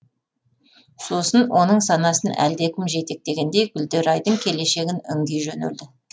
сосын оның санасын әлдекім жетектегендей гүлдерайдың келешегін үңги жөнелді